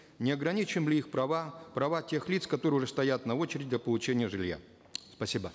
не ограничим ли их права права тех лиц которые уже стоят на очереди для получения жилья спасибо